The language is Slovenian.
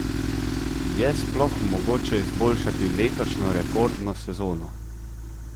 Je sploh mogoče izboljšati letošnjo rekordno sezono?